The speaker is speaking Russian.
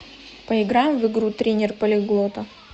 поиграем в игру тренер полиглота